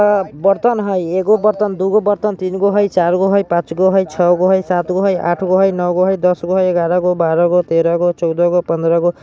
अ बर्तन हई एगो बर्तन दूगो बर्तन तीनगो हई चारगौ हई पांचगो हई छगो हई सातगो हई आठगो हई नवगो हई दसगो हई ग्यारहगो बारहगो तेरहगो चौदहगो पन्द्रहगो --